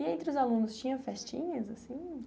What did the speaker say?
E entre os alunos, tinha festinhas, assim?